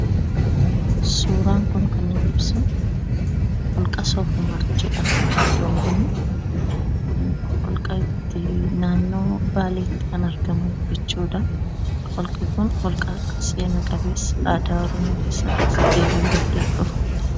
Suuraan kun kan inni ibsu holqa Soof-Umar jedhama. Iddoon kun holqa naannoo Baaleetti kan argamu jechuudha. Holqi kun holqa seena qabeessa aadaa Oromoo keessatti gahee guddaa qabudha.